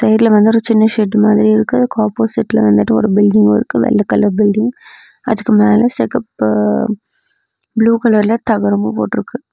சைடுல வந்து ஒரு சின்ன ஷெட் மாதிரி இருக்கு அதுக்கு ஆப்போசிட்ல வந்துட்டு ஒரு பில்டிங்கு இருக்கு வெள்ள கலர் பில்டிங் அதுக்கு மேல செகப்பு ப்ளூ கலர்ல தகரமு போட்ருக்கு.